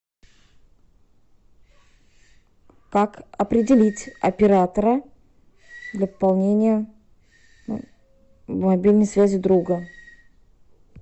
как определить оператора для пополнения мобильной связи друга